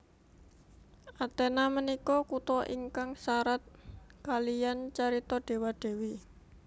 Athena menika kuto ingkang sarat kaliyan carito dewa dewi